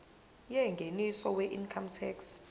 yengeniso weincome tax